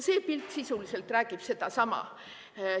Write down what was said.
See pilt sisuliselt räägib sedasama.